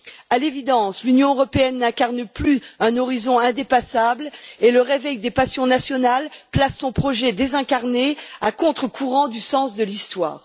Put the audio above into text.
À l'évidence, l'Union européenne n'incarne plus un horizon indépassable, et le réveil des passions nationales place son projet désincarné à contre courant du sens de l'histoire.